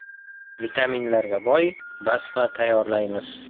Vitaminlarga boy mazali basma tayyorlaymiz.